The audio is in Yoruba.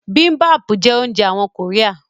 Bibimbap jẹ́ oúnjẹ àwọn kòríà